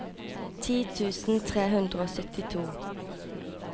ti tusen tre hundre og syttito